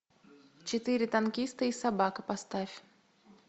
четыре танкиста и собака поставь